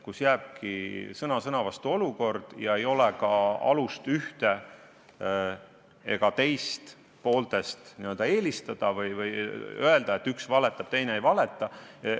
Jääbki sõna sõna vastu olukord ja ei ole ka alust ühte ega teist poolt eelistada või öelda, et üks valetab, teine ei valeta.